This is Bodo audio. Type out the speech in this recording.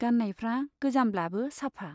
गान्नायफ्रा गोजामब्लाबो साफा।